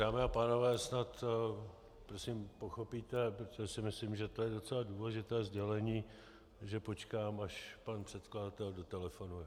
Dámy a pánové, snad prosím pochopíte, protože si myslím, že to je docela důležité sdělení, že počkám, až pan předkladatel dotelefonuje.